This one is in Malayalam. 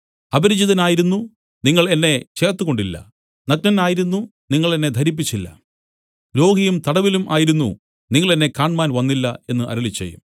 അപരിചിതനായിരുന്നു നിങ്ങൾ എന്നെ ചേർത്തുകൊണ്ടില്ല നഗ്നനായിരുന്നു നിങ്ങൾ എന്നെ ധരിപ്പിച്ചില്ല രോഗിയും തടവിലും ആയിരുന്നു നിങ്ങൾ എന്നെ കാണ്മാൻ വന്നില്ല എന്നു അരുളിച്ചെയ്യും